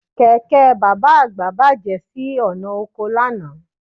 Kẹ̀kẹ́ bàbá àgbà bàjẹ́ sí ọ̀nà oko lánàá